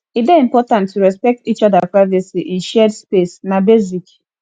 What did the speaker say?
e dey important to respect each oda privacy in shared space na basic